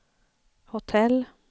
hotell